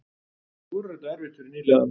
Nú verður þetta erfitt fyrir nýliðanna